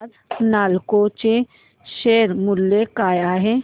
आज नालको चे शेअर मूल्य काय आहे